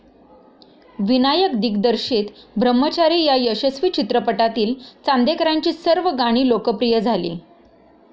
विनायकदिग्दर्शित ब्रह्मचारी या यशस्वी चित्रपटातील चांदेकरांची सर्व गणी लोकप्रिय झाली.